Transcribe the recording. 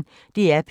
DR P1